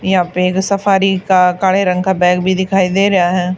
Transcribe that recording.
यहां पेर सफारी का काले रंग का बैग भी दिखाई दे रहा है।